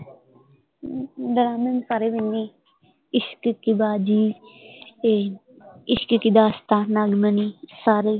ਮੈਂ ਸਾਰੇ ਹੀ ਵਿਹੰਦੀ, ਇਸ਼ਕ ਦੀ ਬਾਜੀ ਤੇ ਇਸ਼ਕ ਕਿ ਦਾਸਤਾਂ, ਨਾਗਮਣੀ ਸਾਰੇ ਹੀ